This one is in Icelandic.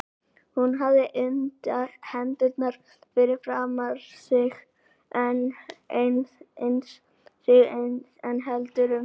Hún hafði hendurnar fyrir framan sig eins og hún héldi um stýri.